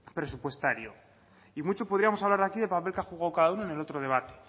presupuestario y mucho podríamos hablar aquí del papel que ha jugado cada uno en el otro debate